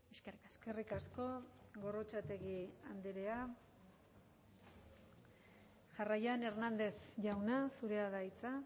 eskerrik asko eskerrik asko gorrotxategi andrea jarraian hernández jauna zurea da hitza